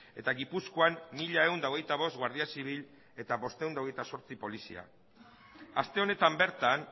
eta gipuzkoan mila ehun eta hogeita bost guardia zibil eta quinientos veintiocho polizia aste honetan bertan